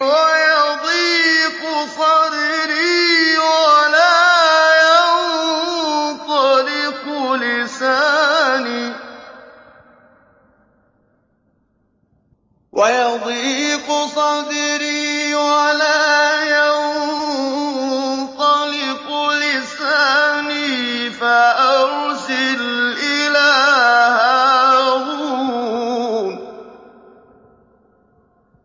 وَيَضِيقُ صَدْرِي وَلَا يَنطَلِقُ لِسَانِي فَأَرْسِلْ إِلَىٰ هَارُونَ